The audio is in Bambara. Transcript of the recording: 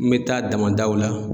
N me taa damadaw la